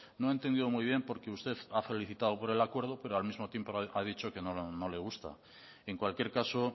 no he entendido muy bien porque usted me ha felicitado por el acuerdo pero al mismo tiempo ha dicho que no le gusta en cualquier caso